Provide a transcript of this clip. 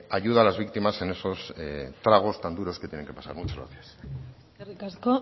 ayuda a las víctimas en esos tragos tan duros que tienen que pasar muchas gracias eskerrik asko